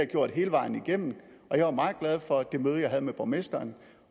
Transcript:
gjort hele vejen igennem og jeg var meget glad for det møde jeg havde med borgmesteren